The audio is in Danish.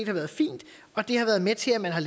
har været fint og det har været med til at man har